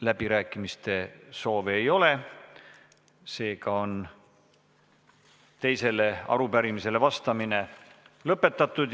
Läbirääkimiste soovi ei ole, seega on teisele arupärimisele vastamine lõpetatud.